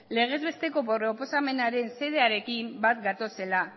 legez besteko proposamenaren xedearekin bat gatozela